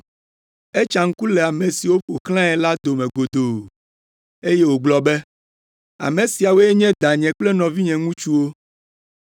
Etsa ŋku le ame siwo ƒo xlãe la dome godoo, eye wògblɔ be, “Ame siawoe nye danye kple nɔvinye ŋutsuwo!